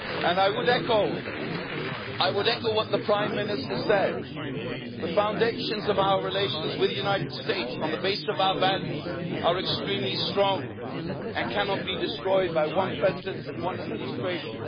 by. I would echo what the Prime Minister said the foundations of our relations with the United States on the basis of our values are extremely strong and cannot be destroyed by one president and one administration.